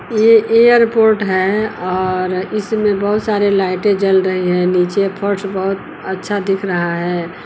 ये एयरपोर्ट है और इसमें बहुत सारे लाइटें जल रही है नीचे फर्श बहुत अच्छा दिख रहा है।